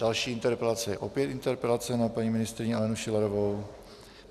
Další interpelace je opět interpelace na paní ministryni Alenu Schillerovou.